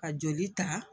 Ka joli ta